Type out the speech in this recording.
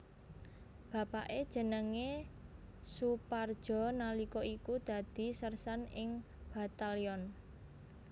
Bapake jenenge Soepardjo nalika iku dadi sersan ing Batalyon